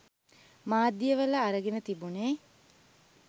මාධ්‍ය වල අරගෙන තිබුණේ.